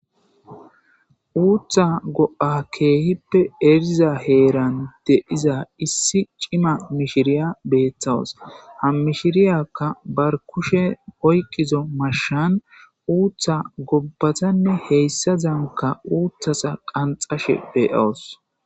uutha go'a keehippe eriza heeran de'iza issi cima mishiriya beetawus ha mishiriyakka bar kushe oyqqizo mashan uutha gobbatanne heyssa zanka uuthasa qanxashe be'wus